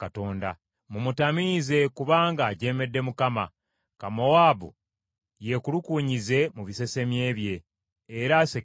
“Mumutamiize; kubanga ajeemedde Mukama . Ka Mowaabu yekulukuunyize mu bisesemye bye, era asekererwe.